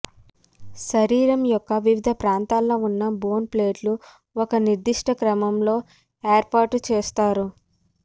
శరీరం యొక్క వివిధ ప్రాంతాల్లో ఉన్న బోన్ ప్లేట్లు ఒక నిర్దిష్ట క్రమంలో ఏర్పాటు చేస్తారు